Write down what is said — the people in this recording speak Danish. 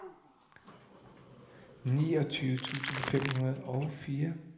niogtyve tusind fem hundrede og fire